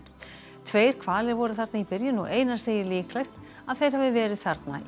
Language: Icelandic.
tveir hvalir voru þarna í byrjun og Einar segir líklegt að þeir hafi verið þarna í